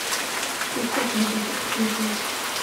пустота хочу посмотреть